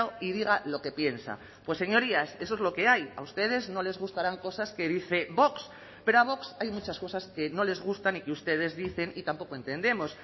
y diga lo que piensa pues señorías eso es lo que hay a ustedes no les gustarán cosas que dice vox pero a vox hay muchas cosas que no les gustan y que ustedes dicen y tampoco entendemos